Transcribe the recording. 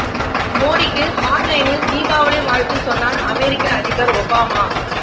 மோடிக்கு ஹாட்லைனில் தீபாவளி வாழ்த்து சொன்னார் அமெரிக்க அதிபர் ஒபாமா